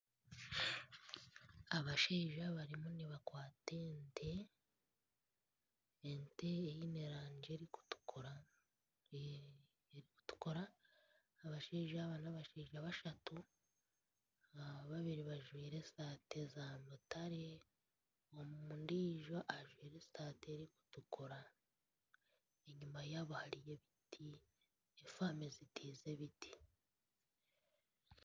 abashaija barimu nibakwata ente, ente eine erangi erikutukura, erikutukura, abashaija aba n'abashaija bashatu babiri bajwire eshati z'amutare ondiijo ajwaire eshati erikutukura, eyima yaaba hariyo ebiti na faamu ezitiize ebiti